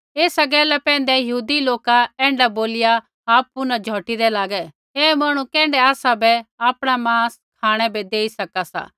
ऐसा गैला पैंधै यहूदी लोका ऐण्ढा बोलिया आपु न झौटीदै लागै ऐ मांहणु कैण्ढै आसाबै आपणा मांस खाँणै बै देई सका सा